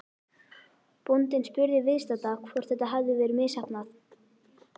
Bóndinn spurði viðstadda hvort þetta hefði verið misheppnað.